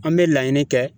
An bɛ laɲini kɛ